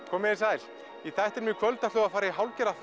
komiði sæl í þættinum í kvöld ætlum við að fara í hálfgerða